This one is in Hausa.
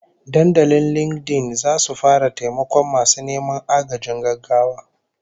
Dandalin LinkedIn zasu fara taimakon masu neman agajin gaggawa